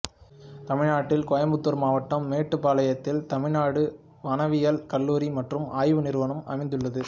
தமிழ்நாட்டில் கோயம்புத்தூர் மாவட்டம் மேட்டுப்பாளையத்தில் தமிழ்நாடு வனவியல் கல்லூரி மற்றும் ஆய்வு நிறுவனம் அமைந்துள்ளது